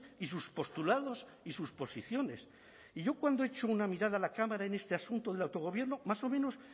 y sus postulados y sus posiciones yo cuando echo una mirada a la cámara en este asunto del autogobierno más o menos